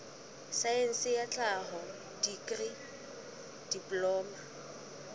saense ya tlhaho dikri diploma